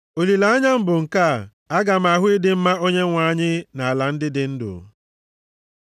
Olileanya m bụ nke a: Aga m ahụ ịdị mma Onyenwe anyị nʼala ndị dị ndụ.